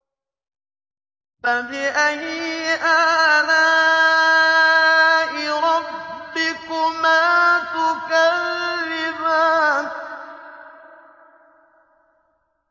فَبِأَيِّ آلَاءِ رَبِّكُمَا تُكَذِّبَانِ